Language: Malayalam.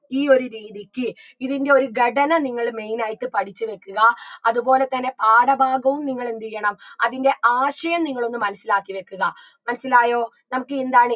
ഈ ഒരു രീതിക്ക് ഇതിൻറെ ഒരു ഘടന നിങ്ങള് main ആയിട്ട് പഠിച്ചു വെക്കുക അത്പോലെ തന്നെ പാഠഭാഗവും നിങ്ങളെന്തെയ്യണം അതിൻറെ ആശയം നിങ്ങളൊന്ന് മനസിലാക്കി വെക്കുക മനസ്സിലായോ നമുക്ക് എന്താണ്